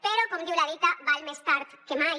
però com diu la dita val més tard que mai